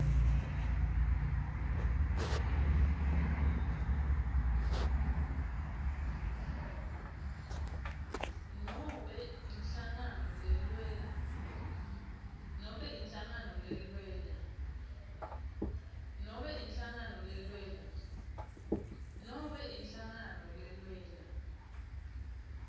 nobe inhlangano lelwela